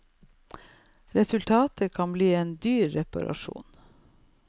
Resultatet kan bli en dyr reparasjon.